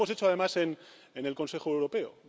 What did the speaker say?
Lo hemos hecho, además, en el Consejo Europeo.